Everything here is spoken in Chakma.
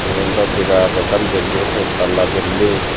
yen dw birat ekkan building set tala building.